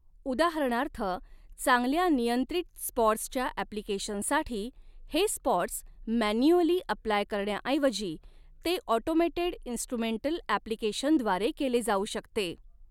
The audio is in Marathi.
उदाहरणार्थ चांगल्या नियंत्रित स्पॉट्सच्या अॅप्लिकेशनसाठी हे स्पॉट्स मॅन्युअली अप्लाय करण्याऐवजी ते ऑटोमेटेड इन्स्ट्रुमेंटल अॅप्लिकेशन द्वारे केले जाऊ शकते.